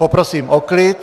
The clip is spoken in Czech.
Poprosím o klid.